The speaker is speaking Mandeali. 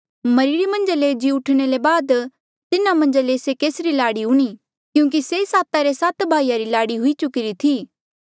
मरिरे मन्झ ले जी उठणा ले बाद तिन्हा मन्झा ले से केसरी लाड़ी हूणीं क्यूंकि से साता रे सात भाईया री लाड़ी हुई चुकीरी थी